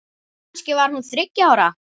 Kannski var hún þriggja ára.